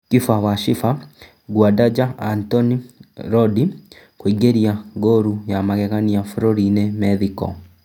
Kiba wa Chiba Nguandaja Antoni Rondi kũingĩria ngũru ya magegania bũrũri-inĩ Methiko